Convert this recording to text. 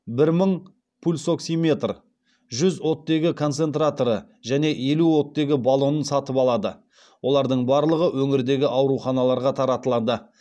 бір мың мың пульсоксиметр жүз оттегі концентраторы және елу оттегі баллонын сатып алады олардың барлығы өңірдегі ауруханаларға таратылады